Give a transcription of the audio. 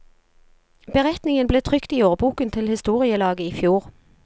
Beretningen ble trykt i årboken til historielaget i fjor.